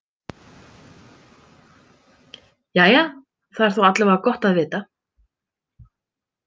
Jæja, það er þó alla vega gott að vita.